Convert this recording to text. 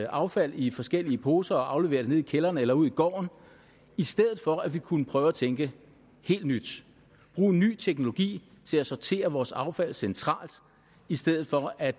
affald i forskellige poser og aflevere det nede i kælderen eller ude i gården i stedet for at vi kunne prøve at tænke helt nyt bruge ny teknologi til at sortere vores affald centralt i stedet for at